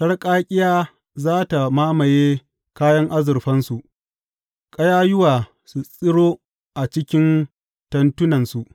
Sarƙaƙƙiya za tă mamaye kayan azurfansu, ƙayayyuwa su tsiro a cikin tentunansu.